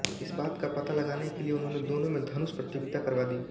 इस बात का पता लगाने के लिए उन्होंने दोनों में धनुष प्रतियोगिता करवा दी